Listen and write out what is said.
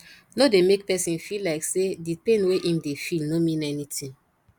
no dey make person feel like say di pain wey im dey feel no mean anything